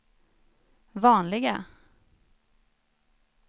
vanliga